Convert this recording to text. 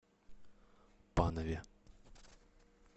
панове